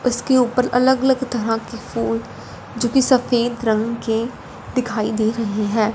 उसके ऊपर अलग अलग तरह के फूल जो कि सफेद रंग के दिखाई दे रही है।